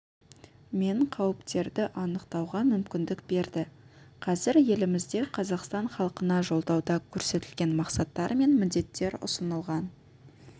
мен қауіптерді анықтауға мүмкіндік берді қазір елімізде қазақстан халқына жолдауда көрсетілген мақсаттар мен міндеттер ұсынылған